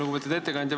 Lugupeetud ettekandja!